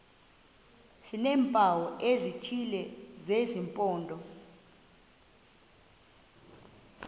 sineempawu ezithile zesimpondo